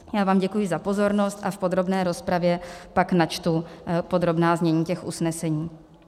Já vám děkuji za pozornost a v podrobné rozpravě pak načtu podrobná znění těch usnesení.